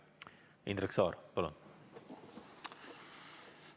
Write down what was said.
Indrek Saar, palun!